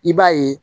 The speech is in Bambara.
I b'a ye